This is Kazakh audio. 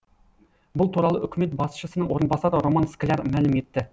бұл туралы үкімет басшысының орынбасары роман скляр мәлім етті